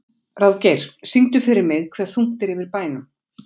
Ráðgeir, syngdu fyrir mig „Hve þungt er yfir bænum“.